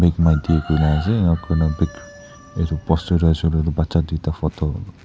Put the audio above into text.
bake my day kuina ase enkura baek edu poster tu ase koilae tu bacha tuita photo --